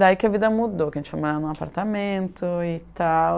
Daí que a vida mudou, que a gente morava em um apartamento e tal.